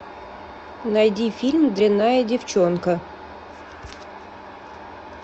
найди фильм дрянная девчонка